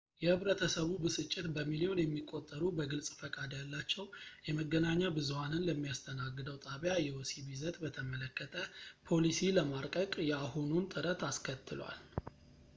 የህብረተሰቡ ብስጭት በሚልዮን የሚቆጠሩ በግልፅ ፈቃድ ያላቸው የመገናኛ ብዙሃንን ለሚያስተናግደው ጣቢያ የወሲብ ይዘት በተመለከተ ፖሊሲ ለማርቀቅ የአሁኑን ጥረት አስከትሏል